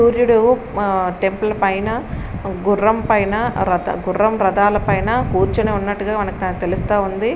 సూర్యుడు మా టెంపుల్ పైన గుర్రం పైన రథ గుర్రం రథాల పైన కూర్చొని ఉన్నట్టుగా మనకు త తెలుస్తా ఉంది.